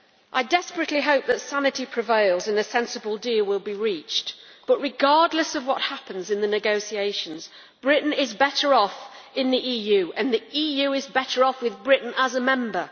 I desperately hope that sanity prevails and that a sensible deal will be reached, but regardless of what happens in the negotiations, Britain is better off in the EU and the EU is better off with Britain as a member.